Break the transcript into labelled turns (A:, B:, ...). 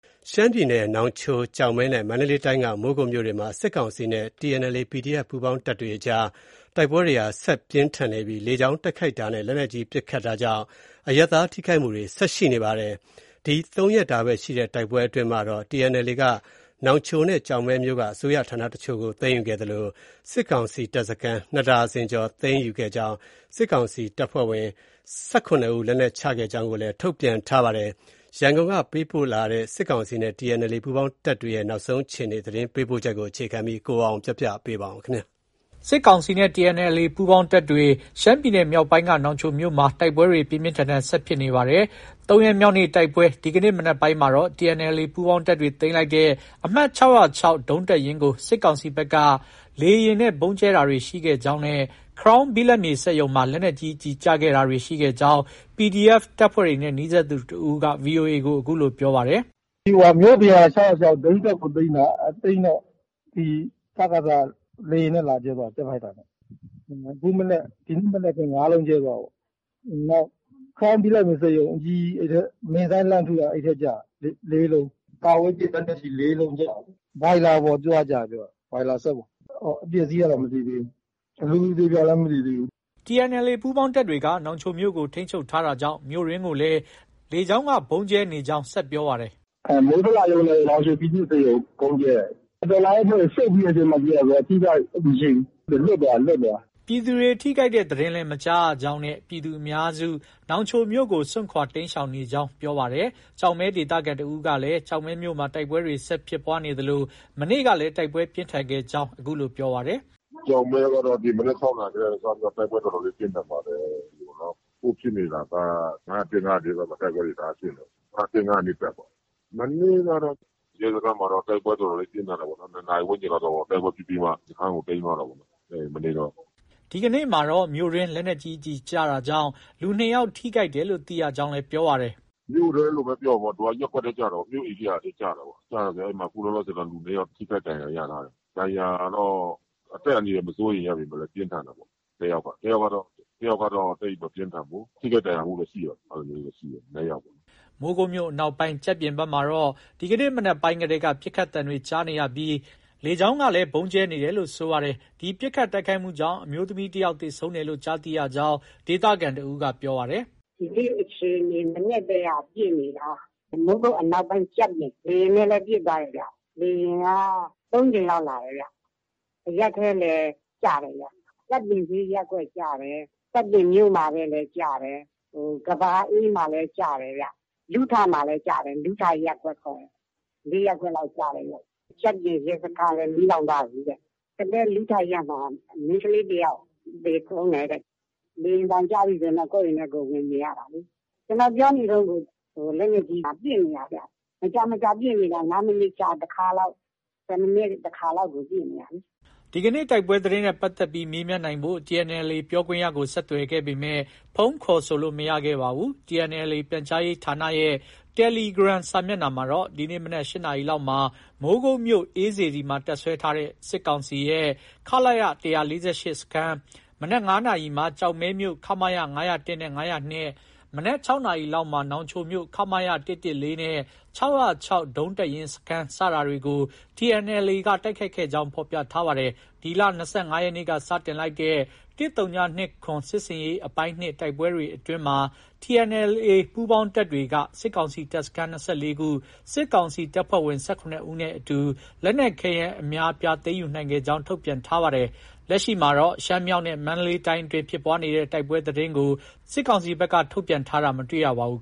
A: ရှမ်းပြည်နယ် နောင်ချို၊ ကျောက်မဲနဲ့ မန္တလေးတိုင်းက မိုးကုတ်မြို့တွေမှာ စစ်ကောင်စီနဲ့ TNLA-PDF ပူးပေါင်းတပ်တွေ အကြား တိုက်ပွဲတွေဟာ ဆက်လက်ပြင်းထန်နေပြီး လေကြောင်းတိုက်ခိုက်တာနဲ့ လက်နက်ကြီးပစ်ခတ်တာကြောင့် အရပ်သား ထိခိုက်မှုတွေ ဆက်ရှိနေပါတယ်။ ၃ရက်တာ တိုက်ပွဲအတွင်းမှာတော့ TNLA က နောင်ချိုနဲ့ ကျောက်မဲမြို့က အစိုးရဌာနအချို့ကို သိမ်းယူခဲ့သလို စစ်ကောင်စီတပ်စခန်း ၂ ဒါဇင်ခန့်သိမ်းယူခဲ့ကြောင်းနဲ့ စစ်ကောင်စီတပ်ဖွဲ့ဝင် ၁၇ဦး လက်နက်ချကြောင်း ထုတ်ပြန်ထားပါတယ်။ ရန်ကုန်ကပေးပို့လာတဲ့ စစ်ကောင်စီနဲ့ TNLA ပူးပေါင်းတပ်ရဲ့ တိုက်ပွဲနောက်ဆုံးအခြေအနေ သတင်းပေးပို့ချက်ကို အခြေခံပြီး ကိုအောင်အောင်က တင်ပြထားပါ
B: တယ်။ စစ်ကောင်စီနဲ့ TNLA ပူးပေါင်းတပ်တွေရဲ့ ၃ရက်မြောက်နေ့ တိုက်ပွဲမှာတော့ ရှမ်းပြည်နယ် မြောက်ပိုင်းက နောင်ချိုမြို့မှာ ပြင်းပြင်းထန်ထန် ဆက်ဖြစ်နေတာပါ။ ဒီကနေ့ မနက်ပိုင်းမှာတော့ TNLA ပူးပေါင်းတပ်တွေသိမ်းလိုက်တဲ့ အမှတ် ၆၀၆ ဒုံးတပ်ရင်းကို စစ်ကောင်စီဘက်က လေယာဉ်နဲ့ ဗုံးကြဲတာတွေ ရှိခဲ့ကြောင်းနဲ့ Crown ဘိလပ်မြေစက်ရုံမှာ လက်နက်ကြီး ကျည်ကျတာတွေရှိခဲ့ကြောင်း PDF တပ်ဖွဲ့တွေနဲ့ နီးစပ်သူ တဦးက VOA ကို အခုလို ပြောပါတယ်။ “ မြို့ပြင်က ၆၀၆ ဒုံးတပ်ကို သိမ်းတာ။ သိမ်းတော့ စကစက လေယာဉ်နဲ့ လာကြဲသွားတယ်။ ဂျက်ဖိုက်တာနဲ့။ ဒီနေ့မနက်ပဲ ၅လုံးကြဲသွားတာပေါ့။ နောက် Crown ဘိလပ်မြေစက်ရုံ အကြီးကြီး အဲဒီအထဲ မစ်ဇိုင်းလှမ်းထုတာ အဲဒီထဲကျတာ ၄လုံး။ တာဝေးပစ်လက်နက်ကြီး ၄လုံးကျတာ။ ဘွိုင်လာပေါ်သွားကျတယ်ပြောတယ်။ ဘွိုင်လာ စက်ပေါ်။ အပျက
C: ်အစီးကတော့ မသိသေးဘူး။ လူအသေအပျောက်လည်း မသိသေးဘူး
B: ။ ” TNLA ပူးပေါင်းတပ်တွေက နောင်ချိုမြို့ကို ထိန်းချုပ်ထားတာကြောင့် မြို့အတွင်းကိုလည်း လေကြောင်းက ဗုံးကြဲတာတွေ ရှိနေကြောင်း ဆက်ပြောပါတယ်
C: ။ “ မို
D: းဇလရုံးနဲ့ နောင်ချို ပြည်သူ့ဆေးရုံ ဗုံးကြဲတယ်။ တော်လှန်ရေးအဖွဲ့တွေ ဆုတ်ပြီးတဲ့အချိန်မှ ကြဲတာဆိုတော့ အထိအခိုက်မရှိဘူး။ လွတ်သွားတာ။
B: ” ပြည်သူတွေ ထိခိုက်တဲ့ သတင်းလည်း မကြားရကြောင်းနဲ့ ပြည်သူအများစု နောင်ချိုမြို့ကို စွန့်ခွာ တိမ်းရှောင်နေကြကြောင်းလည်း ပြောပါတယ်။ ကျောက်မဲဒေသခံတဦးကလည်း ကျောက်မဲမြို့မှာ တိုက်ပွဲတွေ ဆက်လက်ဖြစ်ပွားနေသလို မနေ့ကလည်း တိုက်ပွဲပြင်းထန်ခဲ့ကြောင်း ပြောပါတယ်။
C: “ ကျောက်မဲကတော့ ဒီမနက် ၆နာရီက စပြီးတော့ တိုက်ပွဲတော်တော်လေး ပြင်းထန်ပါတယ်။ အခုဖြစ်နေတာက ၅၀၁။ ၅၀၂ ဘက်မှာ တိုက်ပွဲတွေ တအားဖြစ်နေတာ။ ၅၀၁၊ ၅၀၂ တပ်ပေါ့။ မနေ့ကတော့ ရဲစခန်းမှာတော့ တိုက်ပွဲ တော်တော်လေး ပြင်းထန်တာပေါ့။ ၂နာရီ ဝန်းကျင်လောက် တိုက်ပွဲဖြစ်ပြီးမှ စခန်းကို သိမ်းသွားတာပေါ့။ မနေ့တုန်းက
B: ။ ” ဒီကနေ့တော့ မြို့အတွင်းမှာ လက်နက်ကြီးကျည်ကျတာကြောင့် လူ ၂ယောက် ထိခိုက်တယ်လို့ သိရကြောင်း လည်း ပြောပါတယ်။
C: “ မြို့ထဲလို့ပဲ ပြောရမှာပေါ့။ သူက ရပ်ကွက်ထဲ ကျတာကို၊ မြို့ဧရိယာထဲ ကျတာကိုး။ ကျတာ အခု လောလောဆည်တော့ လူ၂ယောက် ထိခိုက်ဒဏ်ရာ ရထားတယ်။ ဒဏ်ရာတော့ အသက်အန္တရာယ် မစိုးရိမ်ရပေမဲ့လည်း ပြင်းထန်တယ်ပေါ့ တယောက်က။ တယောက်ကတော့ သိပ်မပြင်းထန်ဘူး။ ထိခိုက်ဒဏ်ရာရမှုတော့ ရှိတယ် အဲလိုမျိုးတော့ ရှိတယ်။”
B: မိုးကုတ်မြို့အနောက်ပိုင်း ကျပ်ပြင်ဘက်မှာတော့ ဒီကနေ့ မနက်ကတည်းက ပစ်ခတ်သံတွေကြားနေရပြီး လေကြောင်းကလည်း ဗုံးကြဲတာတွေရှိနေပါတယ်။ ဒီပစ်ခတ်တိုက်ခိုက်မှုကြောင့် အမျိုးသမီးတယောက် သေဆုံးတယ်လို့ ကြားသိရကြောင်း ဒေသခံတဦးက ပြောပါတယ်။
D: “ ဒီနေ့ အခြေအနေ မနက်ကတည်းက ပစ်နေတာ။ မိုးကုတ်အနောက်ပိုင်းကျပ်ပြင်။ လေယာဉ်နဲ့လည်း ပစ်သွားတယ်ဗျ။ လေယာဉ်က ၃ကြိမ်လောက် လာတယ်ဗျ။ အရပ်ထဲလည်း ကျတယ်ဗျ။ ကျပ်ပြင်ဈေးရပ်ကွက် ကျတယ်။ ကျပ်ပြင်မြို့မထဲလည်း ကျတယ်။ ဟို ကမ္ဘာအေးမှာလည်း ကျတယ်။ လူးထမှာလည်း ကျတယ်။ လူးထ ရပ်ကွက်ခေါ်တယ်။ ၄ရပ်ကွက်လောက် ကျတယ်ဗျ။ ကျပ်ပြင်ရဲစခန်းလည်း မီးလောင်သွားပြီတဲ့။ ကသည်း လူးထရပ်မှာ မိန်းကလေး တယောက် သေဆုံးတယ်တဲ့။ လေယာဉ်သံကြားရင်တော့ ကိုယ့်အိမ်ထဲကိုယ် ဝင်နေရတာလေ။ ကျနော်ပြောနေတုံးကို လက်နက်ကြီးက ပစ်နေတာဗျ။ မကြာ မကြာ ပစ်နေတာ ၅မိနစ်တခါလောက်။ ၁၀မိနစ်တခါလောက်ကို ပစ်နေတာလေ။ ”
B: ဒီကနေတိုက်ပွဲသတင်းနဲ့ပတ်သက်ပြီး မေးမြန်းနိုင်ဖို့ TNLA ပြောခွင့်ရကို ဆက်သွယ်ခဲ့ပေမဲ့ ဖုန်းခေါ်ဆိုလို့ မရခဲ့ပါဘူး။ TNLA ပြန်ကြားရေးဌာနရဲ့ တယ်လီဂရမ်စာမျက်နှာမှာတော့ ဒီနေ့မနက် ၈နာရီလောက်မှာ မိုးကုတ်မြို့ အေးစေတီမှာ တပ်စွဲထားတဲ့ စစ်ကောင်စီရဲ့ ခလရ ၁၄၈ စခန်း၊ မနက် ၅နာရီမှာ ကျောက်မဲမြို့ ခမရ ၅၀၁နဲ့ ၅၀၂ ၊ မနက် ၆နာရီလောက်မှာ နောင်ချိုမြို့ ခမရ ၁၁၄ နဲ့ ၆၀၆ ဒုံးတပ်ရင်း စခန်း စတာတွေကို TNLA က တိုက်ခိုက်ခဲ့ကြောင်း ဖော်ပြထားပါတယ်။ ဒီလ ၂၅ရက်နေ့က စတင်လိုက်တဲ့ "၁၀၂၇စစ်ဆင်ရေး အပိုင်း-၂" တိုက်ပွဲတွေ အတွင်းမှာ TNLA ပူးပေါင်းတပ်တွေက စစ်ကောင်စီတပ်စခန်း ၂၄ခု၊ စစ်ကောင်စီတပ်ဖွဲ့ဝင် ၁၇ဦးနဲ့ အတူ လက်နက်ခဲယမ်း အများအပြား သိမ်းယူနိုင်ခဲ့ကြောင်း ထုတ်ပြန်ထားပါတယ်။ လက်ရှိ ရှမ်းမြောက်နဲ့ မန္တလေးတိုင်းအတွင်းဖြစ်ပွားတဲ့ တိုက်ပွဲသတင်းကိုတော့ စစ်ကောင်စီဘက်က ထုတ်ပြန်တာ မတွေ့ရပါဘူး